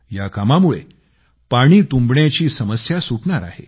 या कामांमुळे पाणी तुंबण्याची समस्या सुटणार आहे